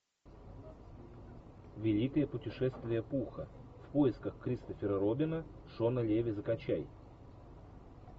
великое путешествие пуха в поисках кристофера робина шона леви закачай